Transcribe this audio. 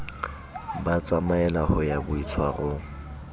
ba tsamaella ho ya boitshwarong